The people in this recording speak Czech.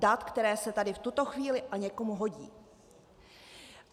Dat, která se tady v tuto chvíli a někomu hodí.